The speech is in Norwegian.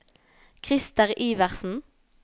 Krister Iversen